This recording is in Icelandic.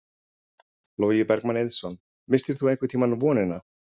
Logi Bergmann Eiðsson: Misstir þú einhvern tímann vonina?